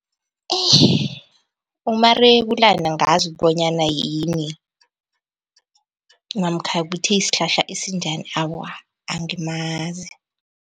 umarebulana angazi bonyana yini namkha ukuthi sihlahla esinjani, awa angimazi.